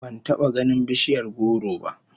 Ban taba ganin bishiyar goro ba